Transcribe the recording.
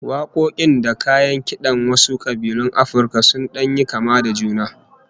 Wakoki da kayan kidan wasu kabilun Afirka sun dan yi kama da juna